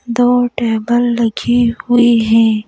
दो टेबल लगी हुई हैं।